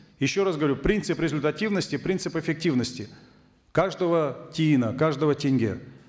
еще раз говорю принцип результативности принцип эффективности каждого тиына каждого тенге